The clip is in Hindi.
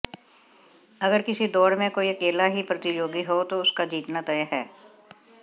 अगर किसी दौड़ में कोई अकेला ही प्रतियोगी हो तो उसका जीतना तय हैं